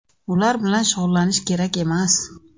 Ular bilan shug‘ullanish kerak emas.